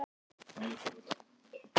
Hversu stór hluti jarðar er járn?